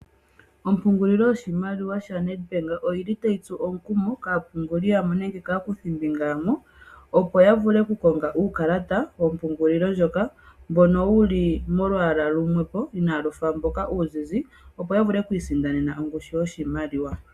Ombungulilo yoshimaliwa yaNedbank oyili tayi tsu omukumo kaapunguli yamwe nenge kaakuthimbinga yamwe opo yavule okukonga uukalata wompungulilo ndyoka mboka wuli molwaala lumwe po kalushi ndoka oluzizi opo yavule oku isindanena ongushu yoshimaliwa.